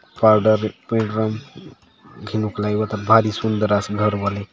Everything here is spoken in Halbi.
फालदार पिडरन घेनुक लाय एवात भारी सुंदर आसे घर बले।